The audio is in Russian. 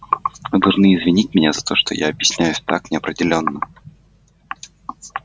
вы должны извинить меня за то что я объясняюсь так неопределённо